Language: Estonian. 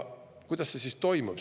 Kuidas see toimub?